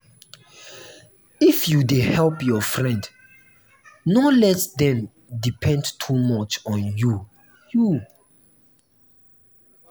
if you dey help your friend no let dem depend too much on you. you.